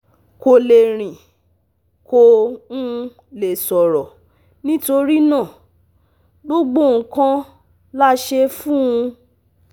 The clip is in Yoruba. Kò lè rìn, kò um lè sọ̀rọ̀, nítorí náà, gbogbo nǹkan la ṣe fún un